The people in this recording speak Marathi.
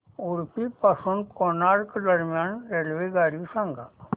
उडुपी पासून गोकर्ण दरम्यान रेल्वेगाडी सांगा